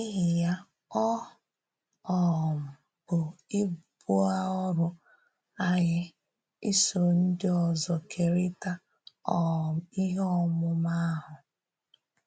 N’íhì ya, ọ um bụ́ ibú ọ̀rụ́ anyị ísò ndị ọzọ̀ kèrìtà um ihe ọ̀múmà ahụ.